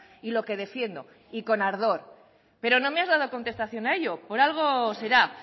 y lo que defiendo y con ardor pero no me has dado contestación a ello por algo será